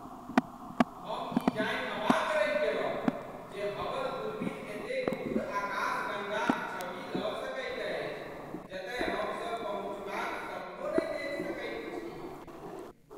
हम ई जानि अवाक रहि गेलहुँ जे हबल दूरबीन एतेक दूर आकाशगंगाक छवि लऽ सकैत अछि जतय हमसभ पहुँचबाक सपनो नहि देखि सकैत छी!